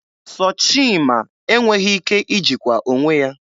Sọchima enweghị ike ijikwa onwe ya.